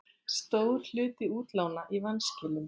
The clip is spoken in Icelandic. Stór hluti útlána í vanskilum